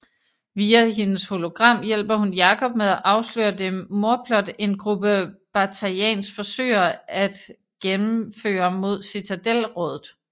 Via hendes hologram hjælper hun Jacob med at afsløre det mordplot en gruppe Batarians forsøger at gennemføre imod Citadel rådet